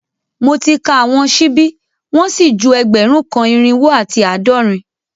Mo ti ka awọn ṣibi wọn si ju ẹgbẹrun kan, irinwo ati aadọrin